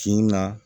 Finna